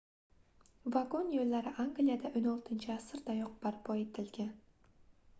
vagon yoʻllari angliyada 16-asrdayoq barpo etilgan